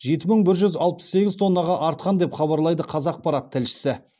жеті мың бір жүз алпыс сегіз тоннаға артқан деп хабарлайды қазақпарат тілшісі